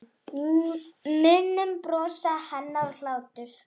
Munum bros hennar og hlátur.